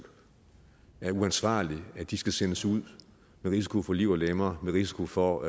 er uansvarligt at de skal sendes ud med risiko for liv og lemmer med risiko for